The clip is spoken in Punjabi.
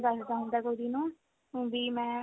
ਦੱਸਦਾ ਹੁੰਦਾ ਕੁੜੀ ਨੂੰ ਵੀ ਮੈਂ